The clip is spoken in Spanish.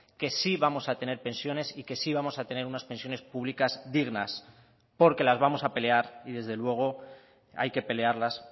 que sí vamos a tener pensiones y que sí vamos a tener unas pensiones públicas dignas porque las vamos a pelear y desde luego hay que pelearlas